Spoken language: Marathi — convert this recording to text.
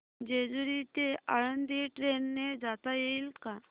जेजूरी ते आळंदी ट्रेन ने जाता येईल का